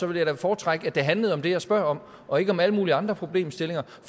vil jeg da foretrække at det handler om det jeg spørger om og ikke om alle mulige andre problemstillinger for